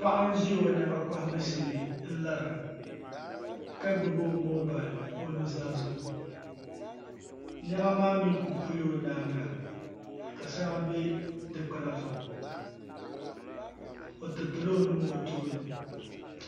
Paɣa n ʒi o niɛma kohabu shee n lara ka gbubi o moobal o nuzaa zuɣu niɛma maa mii ku pula o nyaanga ka shɛŋa bɛ dikpuna zuɣu o tiritila o nuu o tooni